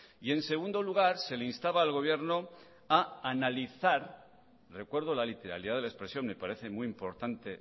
y en segundo lugar se le instaba al gobierno a analizar recuerdo la literalidad de la expresión me parece muy importante